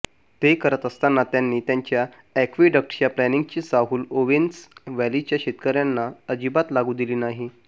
ते करत असताना त्यांनी त्यांच्या अॅक्विडक्टच्या प्लानची चाहुल ओवेन्स व्हॅलीच्या शेतकर्यांना अजिबात लागु दिली नाही